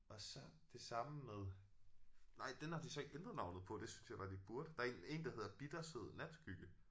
Og så det samme med nej den har de så ikke ændret navnet på det synes jeg bare de burde. Der er en der hedder bittersød natskygge